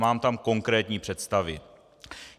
Mám tam konkrétní představy.